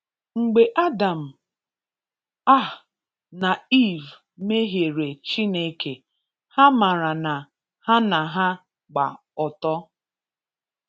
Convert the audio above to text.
Mgbe Adam um na Eve mmehiere Chineke, ha mara na ha na ha gba ọtọ.